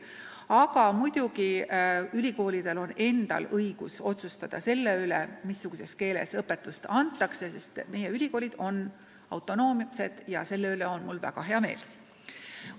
Aga muidugi on ülikoolidel õigus otsustada, mis keeles õpetust antakse – meie ülikoolid on autonoomsed ja selle üle on mul väga hea meel.